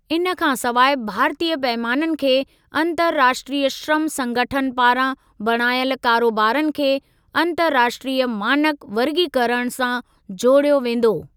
इन खां सवाइ भारतीय पैमाननि खे 'अन्तर्राष्ट्रीय श्रम संगठन' पारां बणायल कारोबारनि खे 'अन्तर्राष्ट्रीय मानक वर्गीकरण' सां जोड़ियो वेंदो।